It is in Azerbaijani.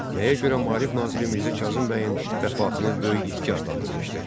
Nəyə görə Maarif naziri Mirzə Kazım bəyin vəfatını böyük itki adlandırmışdır?